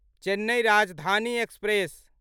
Chennai Rajdhani express